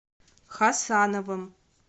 хасановым